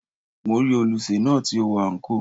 Mo rí olùsè náà tí ó wọ àǹkóò.